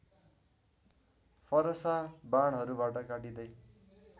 फरसा बाणहरूबाट काटिँदै